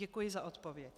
Děkuji za odpověď.